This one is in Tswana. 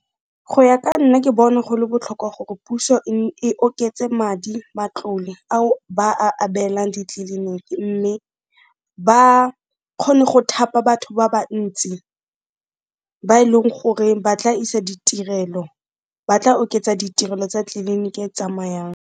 Go ya ka nna ke bona go le botlhokwa gore puso e oketse madi, matlole ao ba a abelang ditleliniki mme ba kgone go thapa batho ba bantsi, ba e leng gore ba tla isa ditirelo, ba tla oketsa ditirelo tsa tleliniki e tsamayang.